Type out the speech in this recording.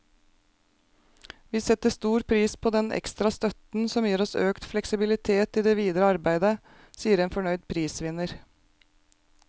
Vi setter stor pris på denne ekstra støtten, som gir oss økt fleksibilitet i det videre arbeidet, sier en fornøyd prisvinner.